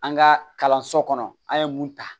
An ka kalanso kɔnɔ an ye mun ta